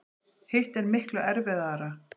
Hitt er miklu erfiðara.